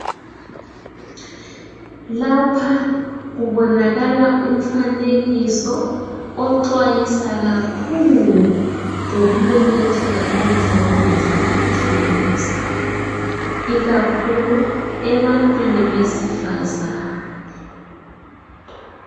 Lapha kubonakala umfanekiso oxwayisa kakhulu ngokumemetheka komdlamvuza wekhensa ikakhulu ebantwini besifazane.